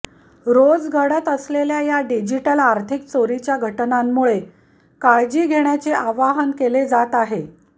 रोज घडत असलेल्या या डिजिटल आर्थिक चोरीच्या घटनांमुळे काळजी घेण्याचे आवाहन केले जात आहे